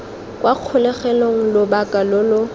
kwa kgolegelong lobaka lo lo